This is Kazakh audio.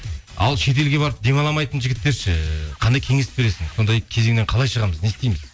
ал шетелге барып демаламайтын жігіттер ше қандай кеңес бересің сондай кезеңнен қалай шығамыз не істейміз